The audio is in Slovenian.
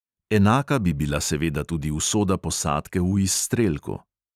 Enaka bi bila seveda tudi usoda posadke v izstrelku.